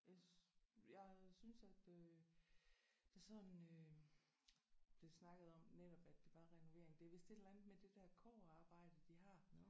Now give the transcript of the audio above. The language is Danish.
Jeg jeg synes at øh der sådan øh blev snakket om netop at det var renovering det er vist et eller andet med det der kobberarbejde de har